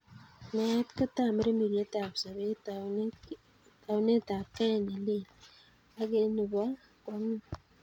Meet ko tambiriretab sobeet, taunetab kei ne lel ake nebo kwong'ut.